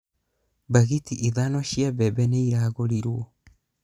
mbagĩti ithano cia bembe nĩiragũrĩrwo